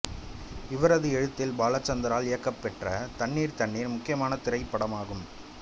இவரது எழுத்தில் பாலச்சந்தரால் இயக்கபெற்ற தண்ணீர் தண்ணீர் முக்கியமான திரைப்படம் ஆகும்